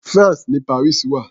France ni Paris wà.